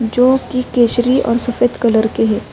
جو کی کسری اور سفید کلر کے ہے۔